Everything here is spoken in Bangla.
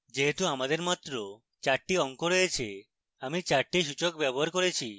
যেহেতু আমাদের মাত্র চারটি অঙ্ক রয়েছে আমি চারটি সূচক ব্যবহার করেছি